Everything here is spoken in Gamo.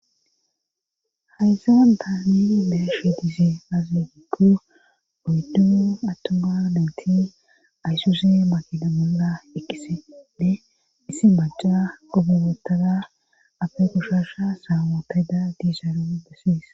hayse wandaa meni neya shi dise aazigippu goyddimu attoma nayntin aysuse makina monla ekisede issi maca qobibotada afe kushasha saamootayda diisharo bessies